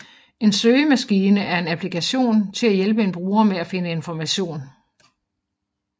En søgemaskine er en applikation til at hjælpe en bruger med at finde information